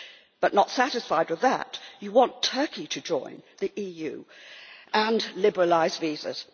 But not satisfied with that, you want Turkey to join the EU and to liberalise visas.